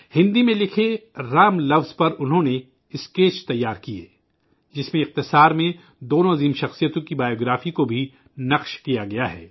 ہندی میں لکھے 'رام' لفظ پر انہوں نے اسکیچ تیار کئے جس میں مختصراً دونوں عظیم شخصیتوں کی سوانح عمری کو بھی درج کی ہے